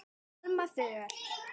Alma Þöll.